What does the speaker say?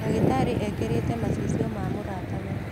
ndagītarī ekīrīte macicio ma mūrata we.